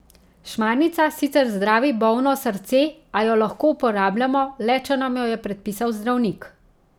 Šmarnica sicer zdravi bolno srce, a jo lahko uporabljamo le, če nam jo je predpisal zdravnik.